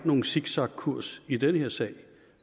nogen zigzagkurs i den her sag